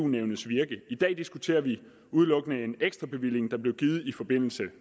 nævnets virke i dag diskuterer vi udelukkende en ekstra bevilling der blev givet i forbindelse